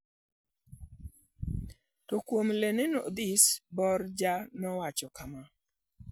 To kuom LeninOdhis, Borja nowacho kama: